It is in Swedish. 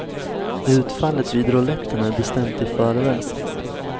Utfallet vid rouletten är bestämt i förväg.